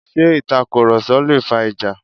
Ṣé itakuroso lé fà ìjà?